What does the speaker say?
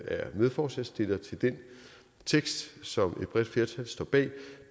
er medforslagsstillere til den tekst som et bredt flertal står bag